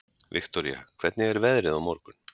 Viktoria, hvernig er veðrið á morgun?